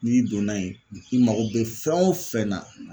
N'i donna yen i mago bɛ fɛn o fɛn na